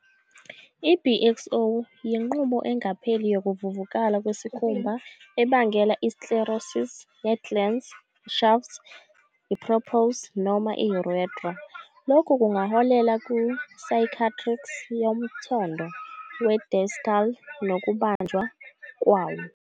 I-BXO yinqubo engapheli yokuvuvukala kwesikhumba ebangela i-sclerosis ye-glans, shaft, prepuce, noma i-urethra. Lokhu kungaholela ku-cicatrix yomthondo we-distal nokubanjwa kwawo.